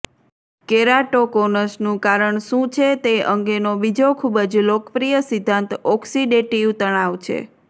કેરાટોકોનસનું કારણ શું છે તે અંગેનો બીજો ખૂબ જ લોકપ્રિય સિદ્ધાંત ઓક્સિડેટીવ તણાવ છે